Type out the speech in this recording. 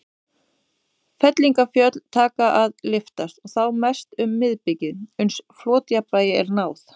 Fellingafjöllin taka að lyftast, og þá mest um miðbikið, uns flotjafnvægi er náð.